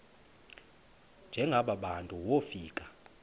njengaba bantu wofika